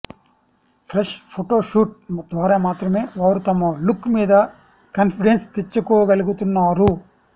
fresh photoshoot ద్వారా మాత్రమే వారు తమ లుక్ మీద కాన్ఫిడెన్స్ తెచ్చుకోగలుగుతున్నారు